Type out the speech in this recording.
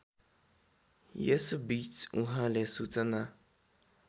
यसबीच उहाँले सूचना